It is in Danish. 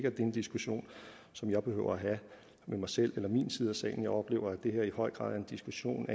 er en diskussion som jeg behøver at have med mig selv eller min side af salen jeg oplever at det her i høj grad er en diskussion